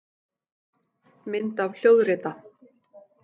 Mynd af hljóðrita.